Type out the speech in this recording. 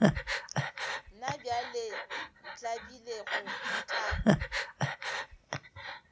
na bjale ntlabile go tla